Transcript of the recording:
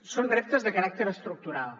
són reptes de caràcter estructural